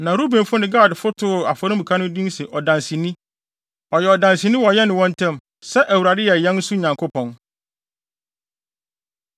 Na Rubenfo ne Gadfo too afɔremuka no din sɛ “Ɔdanseni,” ɔyɛ ɔdanseni wɔ yɛne wɔn ntam sɛ Awurade yɛ yɛn nso Nyankopɔn.